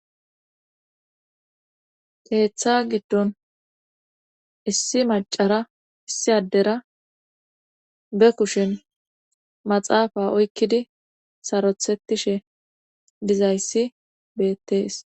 Keeththa giddon issi macara issi addera be kushin maxaafa oykkidi sarothetishe dizayssi beettees